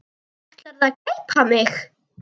Ætlarðu að gleypa mig!